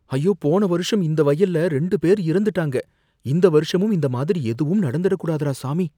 ஐயோ, போன வருஷம் இந்த வயல்ல ரெண்டு பேர் இறந்துட்டாங்க! இந்த வருஷமும் இந்த மாதிரி எதுவும் நடந்திடக் கூடாதுடா, சாமி!